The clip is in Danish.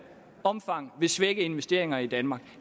omfang vil svække investeringer i danmark